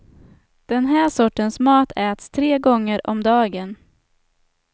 Den här sortens mat äts tre gånger om dagen.